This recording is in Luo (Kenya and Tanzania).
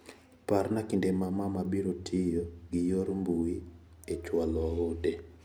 Parna kinde ma mama biro tiyo gi yor mbui e chwalo ote.